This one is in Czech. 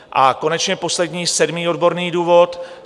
A konečně poslední sedmý odborný důvod.